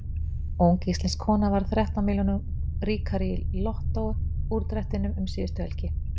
Ung íslensk kona varð þrettán milljónum ríkari í Lottó úrdrættinum um síðustu helgi.